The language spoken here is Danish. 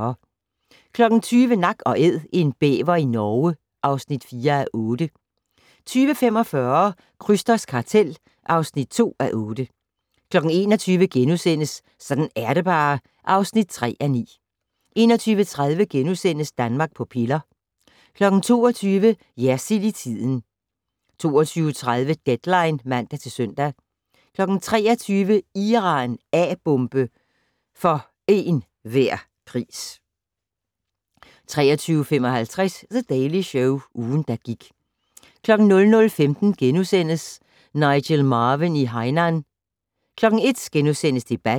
20:00: Nak & Æd - en bæver i Norge (4:8) 20:45: Krysters kartel (2:8) 21:00: Sådan er det bare (3:9)* 21:30: Danmark på piller * 22:00: Jersild i tiden 22:30: Deadline (man-søn) 23:00: Iran - A-bombe for en hver pris 23:55: The Daily Show - ugen, der gik 00:15: Nigel Marven i Hainan * 01:00: Debatten *